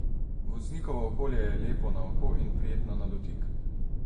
Voznikovo okolje je lepo na oko in prijetno na dotik.